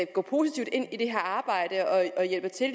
gå positivt ind i det her arbejde og hjælpe til